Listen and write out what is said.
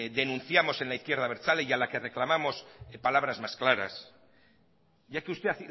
denunciamos en la izquierda abertzale y a la que reclamamos palabras más claras ya que usted